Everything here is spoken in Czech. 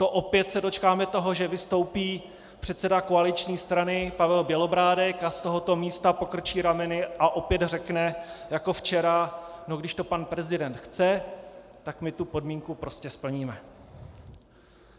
To se opět dočkáme toho, že vystoupí předseda koaliční strany Pavel Bělobrádek a z tohoto místa pokrčí rameny a opět řekne jako včera "no, když to pan prezident chce, tak my tu podmínku prostě splníme"?